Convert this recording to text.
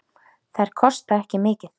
Þær kosta ekki mikið.